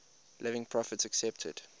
living prophets accepted